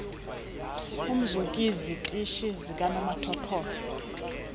umzk izitishi zikanomathotholo